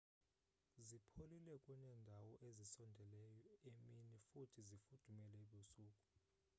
zipholile kuneendawo ezisondeleyo emini futhi zifudumale ebusuku